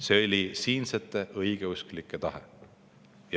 See oli siinsete õigeusklike tahe.